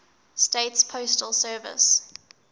states postal service